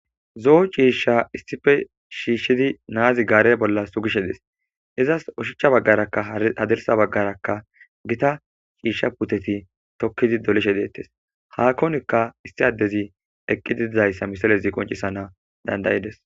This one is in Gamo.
zoo ciishsha issife shiishshidi naazi gaare bolla sugishe des izas oshichcha baggarakka hadersa baggaraka gita shiishsha puteti tokkidi dolishe deettes haakonikka issi addezi eqqi didizayssa misalezi qoncisana dandayides